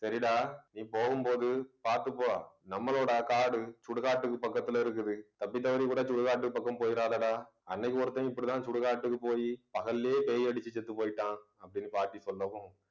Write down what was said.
சரிடா நீ போகும்போது பார்த்துப்போ நம்மளோட காடு சுடுகாட்டுக்கு பக்கத்துல இருக்குது தப்பு தவறியும் கூட சுடுகாட்டு பக்கம் போயிறாதடா அன்னைக்கு ஒருத்தன் இப்படித்தான் சுடுகாட்டுக்கு போயி பகல்லயே பேய் அடிச்சு செத்துப் போயிட்டான் அப்பிடின்னு பாட்டி சொல்லவும்